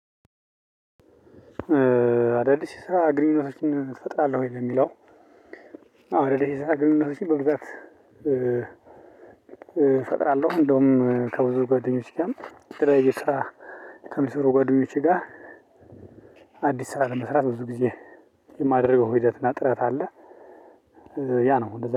አዳዲስ ስራ ግንኙነቶችን እፈጥራለሁ ነው የሚለው። አዳዲስ ስራ ግንጉነቶቺን በብዛት እፈጥራለሁ እንደውም ከብዙ ጓደኞች ጋር። የተለያዩ ስራ ከሚሰሩ ጓደኞቼ ጋር። አዲስ ስራ ለመስራት ብዙ ጊዜ የማደርገው ሂደት እና ጥረት አለ። ያ ነው